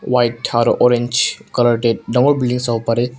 white orange colour dae dangor building savole parey.